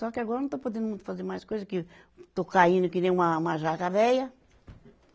Só que agora não estou podendo fazer mais coisa que estou caindo que nem uma, uma jaca veia.